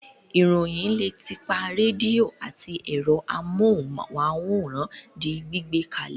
Ìròyìn le tipa rédíò àti ẹ̀rọ amóhùmáwòhán di gbígbẹ kalẹ̀.